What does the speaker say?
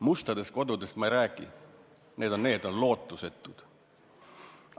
Mustadest kodudest ma ei räägigi, need on lootusetud.